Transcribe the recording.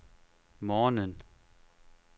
morgenen